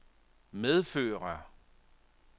medfører